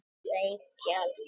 Reykjalundi